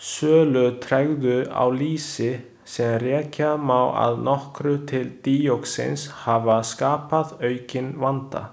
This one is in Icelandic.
Sölutregðu á lýsi, sem rekja má að nokkru til díoxíns hafa skapað aukinn vanda.